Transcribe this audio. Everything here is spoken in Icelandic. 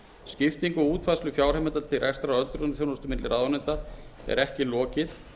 skiptingu og útfærslu fjárheimilda til rekstrar öldrunarþjónustu milli ráðuneytanna er ekki lokið